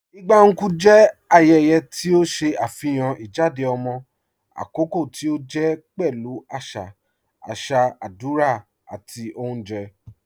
Igba Nkwu jẹ ayẹyẹ̀ ti o ṣe afihàn ijádẹ̀ ọmọ akọkọ̀ ti o jẹ pẹ̀lú aṣa aṣa, adúrà, àti ọ̀unjẹ́.